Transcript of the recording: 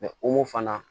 o mofanna